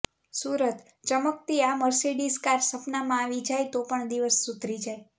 સુરતઃ ચમકતી આ Mercedes car સપનામાં આવી જાય તો પણ દિવસ સુધરી જાય